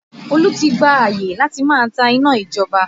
Olú ti gba àyè láti máa ta iná ìjọba